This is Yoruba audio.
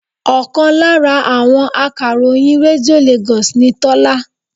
Ọkàn lára àwọn akàròyìn Rédíò Lagos ni Tola